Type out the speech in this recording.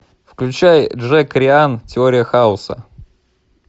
включай джек райан теория хаоса